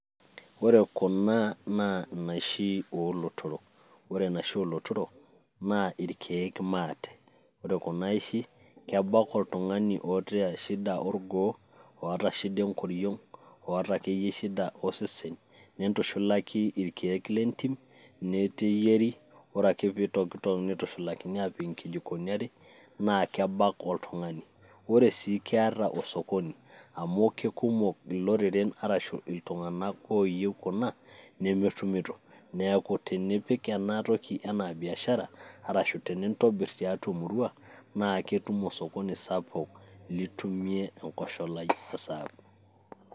ore kuna naa inaishi oolotork, ore enaisho oolotorok naa irkeek maate. ore kuna aishi kebak oltungani oota shida orgoo, oota shida enkoriong',oota akeyie shida osesen, nintushulaki irkeek lentim. neyieri ore ake pee itokitok, nitushulakini aapik inkijikoni are naa kebak oltungani. ore siii keeta osokoni am keikumok iloreren arashu iltunganak ooyieu kuna, nemetumito neeku tenipik ena toki anaa biashara arashu tenintobir tiatua emurua naa ketum osokoni sapuk litumie enkosholai osaabu.